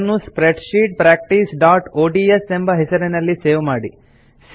ಅದನ್ನು ಸ್ಪ್ರೆಡ್ಶೀಟ್ practiceಒಡಿಎಸ್ ಎಂಬ ಹೆಸರಿನಲ್ಲಿ ಸೇವ್ ಮಾಡಿ